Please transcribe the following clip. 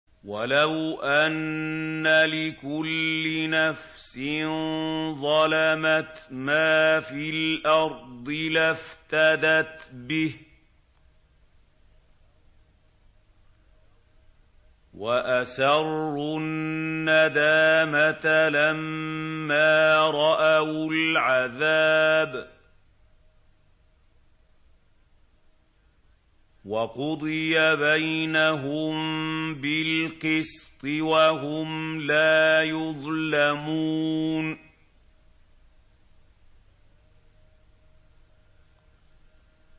وَلَوْ أَنَّ لِكُلِّ نَفْسٍ ظَلَمَتْ مَا فِي الْأَرْضِ لَافْتَدَتْ بِهِ ۗ وَأَسَرُّوا النَّدَامَةَ لَمَّا رَأَوُا الْعَذَابَ ۖ وَقُضِيَ بَيْنَهُم بِالْقِسْطِ ۚ وَهُمْ لَا يُظْلَمُونَ